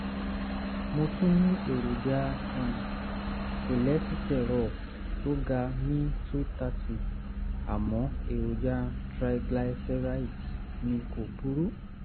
mo tún ní èròjà um kòlẹ́sítírọ̀ tó ga ní 230 àmọ́ èròjà triglycerides mi kò burú